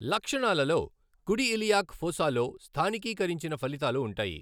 లక్షణాలలో కుడి ఇలియాక్ ఫోసాలో స్థానికీకరించిన ఫలితాలు ఉంటాయి.